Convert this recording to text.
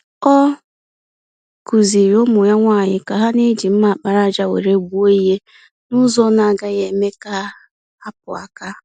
Ọ kụziiri ụmụ ya nwanyị ka ha na-eji mma àkpàràjà were gbuo ìhè, nụzọ ọna agaghị eme ha akpụ-aka.